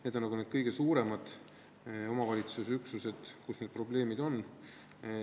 Need on need kõige suuremad omavalitsusüksused, kus need probleemid on.